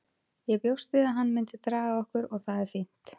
Ég bjóst við að hann myndi draga okkur og það er fínt.